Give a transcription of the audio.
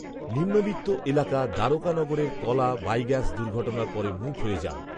নিম্নবিত্ত এলাকা দ্বারকানগরের কলা বাঈগ্যাস দুর্ঘটনার পরে মূক হয়ে যান